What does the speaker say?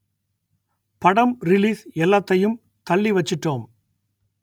படம் ரிலீஸ் எல்லாத்தையும் தள்ளி வச்சிட்டோம்